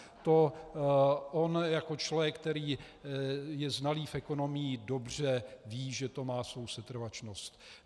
To on jako člověk, který je znalý v ekonomii, dobře ví, že to má svou setrvačnost.